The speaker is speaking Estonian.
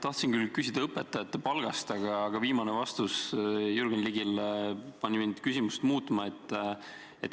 Tahtsin küll küsida õpetajate palga kohta, aga viimane vastus Jürgen Ligile pani mind küsimust muutma.